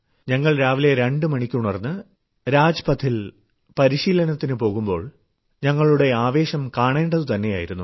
ഞങ്ങൾ രാവിലെ 2 മണിക്ക് ഉണർന്ന് രാജ്പഥിൽ പരിശീലനത്തിനു പോകുമ്പോൾ ഞങ്ങളുടെ ആവേശം കാണേണ്ടതു തന്നെയായിരുന്നു